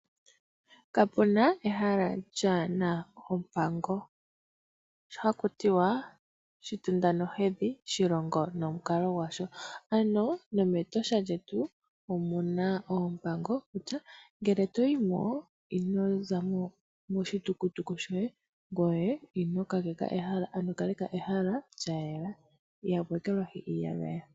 Kapena ehala kalina oompango. Ohakutiwa shitunda nohedhi shilongo nomukalo gwasho ano nomEtosha lyetu oompango kutya ngele toyimo inozamo moshitukutuku shoye ngoye kaleka ehala lyayela. Ihamu ekelwahi iiyagaya.